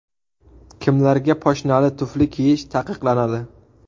Kimlarga poshnali tufli kiyish taqiqlanadi?